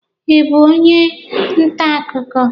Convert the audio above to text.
Ị bụ onye nta akụkọ?